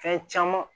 Fɛn caman